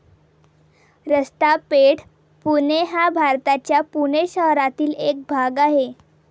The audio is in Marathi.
रस्ता पेठ, पुणे हा भारताच्या पुणे शहरातील एक भाग आहे.